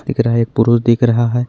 दिख रहा है एक पुरुष दिख रहा है।